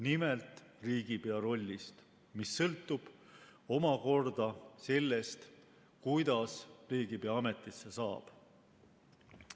Nimelt riigipea rollist, mis sõltub omakorda sellest, kuidas riigipea ametisse saab.